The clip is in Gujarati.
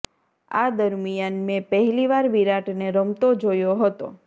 આ દરમિયાન મેં પહેલી વાર વિરાટને રમતો જોયો હતો